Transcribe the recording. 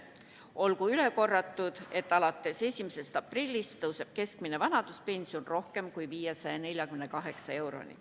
Olgu üle korratud, et alates 1. aprillist tõuseb keskmine vanaduspension rohkem kui 548 euroni.